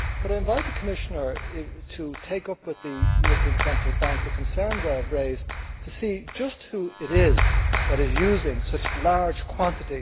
Could I invite the Commissioner to take up with the European Central Bank the concerns I have raised to see who it is who is using such large quantities of EUR 500 notes?